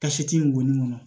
Tasi in ŋɔni ŋɔnɔ